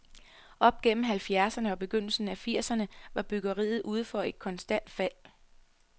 Op gennem halvfjerdserne og begyndelsen af firserne var byggeriet ude for et konstant fald.